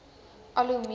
al hoe meer